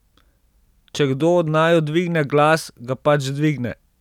Če kdo od naju dvigne glas, ga pač dvigne.